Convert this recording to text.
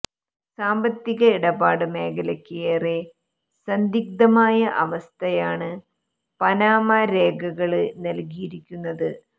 സാമ്പത്തിക ഇടപാട് മേഖലയ്ക്ക് ഏറെ സന്ദിഗ്ദ്ധമായ അവസ്ഥയാണ് പനാമ രേഖകള് നല്കിയിരിക്കുന്നത്